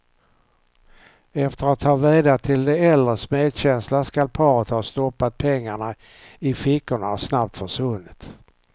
Efter att ha vädjat till de äldres medkänsla skall paret ha stoppat pengarna i fickorna och snabbt försvunnit.